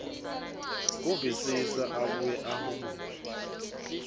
kuvisisa abuye ahumushe